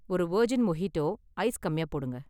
ஒரு virgin mojito, ice கம்மியா போடுங்க